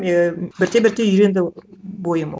ііі бірте бірте үйренді бойым